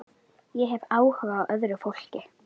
Stefana, hvað er á innkaupalistanum mínum?